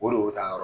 O le o taa yɔrɔ